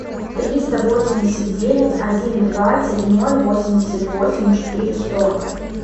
триста восемьдесят девять один двадцать ноль восемьдесят восемь четыре сто